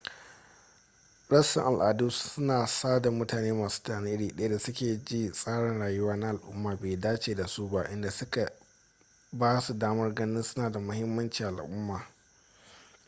rassan al'adu suna sada mutane masu tunani iri daya da suke ji tsarin rayuwa na al'umma bai dace da su ba inda suke ba su damar ganin suna da muhimanci a al'umma